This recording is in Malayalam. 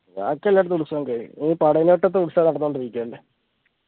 ബാക്കി എല്ലടത്തു ഉത്സവം കഴിഞ്ഞു ഇനി ഉത്സവം നടന്നോണ്ടിരിക്കുന്നുണ്ട്